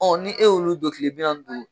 ni e y'olu don kiile bi naani ni duuru.